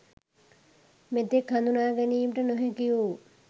මෙතෙක් හඳුනා ගැනීමට නොහැකි වු